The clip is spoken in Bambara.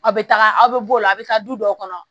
Aw bɛ taga aw bɛ b'o la a bɛ taa du dɔw kɔnɔ